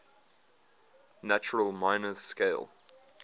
natural minor scale